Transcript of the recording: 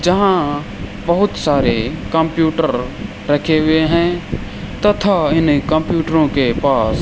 यहां बहुत सारे कंप्यूटर रखे हुए हैं तथा इन्हें कंप्यूटरों के पास --